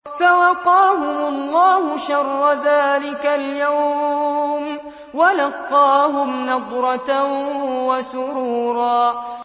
فَوَقَاهُمُ اللَّهُ شَرَّ ذَٰلِكَ الْيَوْمِ وَلَقَّاهُمْ نَضْرَةً وَسُرُورًا